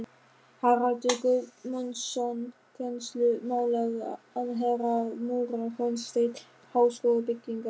Haraldur Guðmundsson, kennslumálaráðherra, múrar hornstein háskólabyggingar